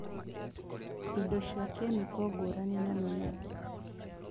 Indo cia kĩmĩko ngũrani na mĩmera